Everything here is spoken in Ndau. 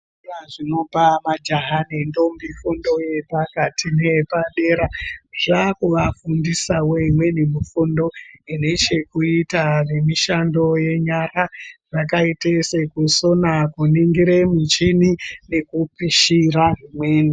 Zvikora zvinopa majaha ne ndombi fundo nepakati neyepadera zvava kuvafundisawo imweni mifundo ine chokuita nemishando yenyara yakaita sekusona kuningire muchini nekupishira imweni.